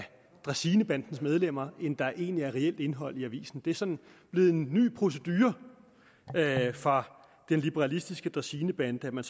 dræsinebandens medlemmer end der egentlig er reelt indhold i avisen det er sådan blevet en ny procedure fra den liberalistiske dræsinebande at man